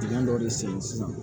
dɔ de sen sisan